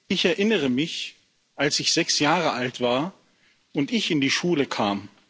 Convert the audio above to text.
Ich erinnere mich, als ich sechs Jahre alt war und in die Schule kam.